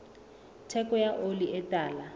theko ya oli e tala